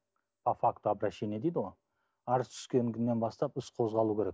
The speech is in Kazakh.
по факту обращения дейді ғой арыз түскен күннен бастап іс қозғалу керек